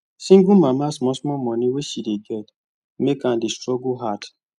single mama small small money wey she dey get make am dey struggle hard